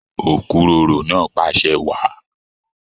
Okuroro náà pàṣẹ wàá.